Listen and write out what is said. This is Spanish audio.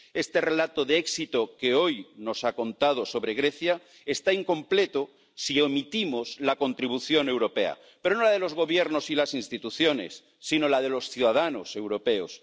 Este relato de éxito que hoy nos ha contado sobre Grecia está incompleto si omitimos la contribución europea, pero no la de los gobiernos y las instituciones, sino la de los ciudadanos europeos.